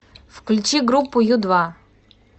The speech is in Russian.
включи группу ю два